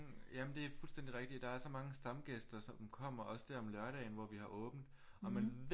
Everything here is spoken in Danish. Jamen det er fuldstændig rigtigt der er så mange stamgæster som kommer også der om lørdagen hvor vi har åbent og man ved